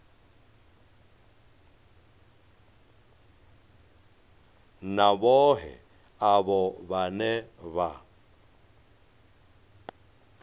na vhohe avho vhane vha